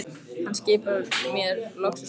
Hann skipar mér loks að stoppa.